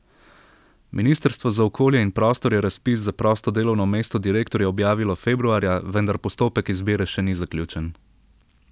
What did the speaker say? Ministrstvo za okolje in prostor je razpis za prosto delovno mesto direktorja objavilo februarja, vendar postopek izbire še ni zaključen.